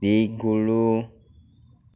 ligulu